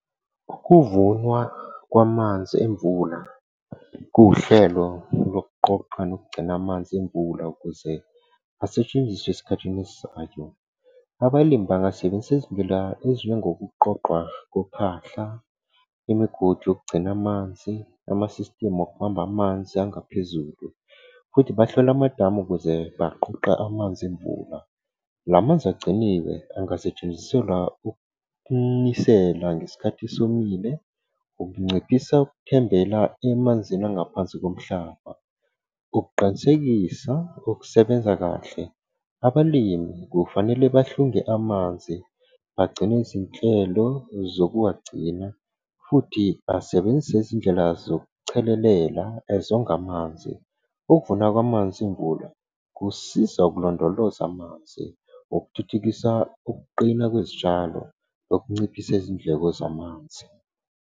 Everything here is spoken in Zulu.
Ukuvunwa kwamanzi emvula kuwuhlelo lokuqoqa nokugcina amanzi emvula ukuze asetshenziswe esikhathini esizayo. Abalimi bangasebenzisa izindlela ezinjengo kuqoqwa kophahla, imigodi yokugcina amanzi, ama-system okubamba amanzi angaphezulu, futhi bahlole amadamu ukuze baqoqe amanzi emvula. La manzi agciniwe angasetshenziselwa ukunisela ngesikhathi esomile, ukunciphisa ukuthembela emanzini angaphansi komhlaba. Ngokuqinisekisa ukusebenza kahle, abalimi kufanele bahlunge amanzi bagcine izinhlelo zokuwagcina futhi basebenzisa izindlela zokuchelelela ezonga amanzi. Ukuvunwa kwamanzi emvula kusiza ukulondoloza amanzi, okuthuthukisa ukuqina kwezitshalo, nokunciphisa izindleko zamanzi.